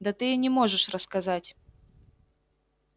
да ты и не можешь рассказать